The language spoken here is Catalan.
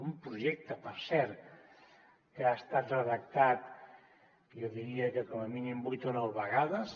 un projecte per cert que ha estat redactat jo diria que com a mínim vuit o nou vegades